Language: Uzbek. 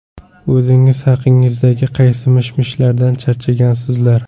O‘zingiz haqingizdagi qaysi mish-mishlardan charchagansizlar?